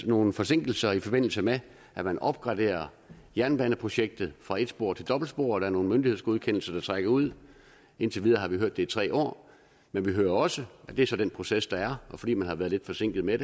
nogle forsinkelser i forbindelse med at man opgraderer jernbaneprojektet fra et spor til dobbeltspor og der er nogle myndighedsgodkendelser der trækker ud indtil videre har vi hørt at det er tre år men vi hører også og det er så den proces der er at fordi man har været lidt forsinket med